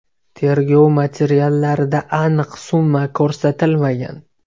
Tergov materiallarida aniq summa ko‘rsatilmagan.